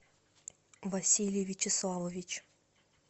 василий вячеславович